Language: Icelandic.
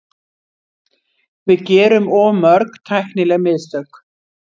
Við gerum of mörg tæknileg mistök.